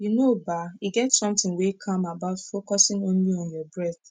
you know bah e get sometin wey calm about focusin only on your breath